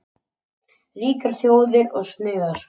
Ríkar þjóðir og snauðar.